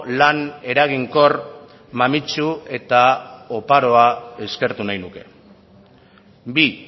lan eraginkor mamitsu eta oparoa eskertu nahi nuke bi